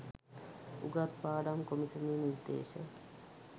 උගත් පාඩම් කොමිසමේ නිර්දේශ